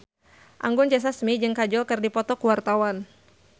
Anggun C. Sasmi jeung Kajol keur dipoto ku wartawan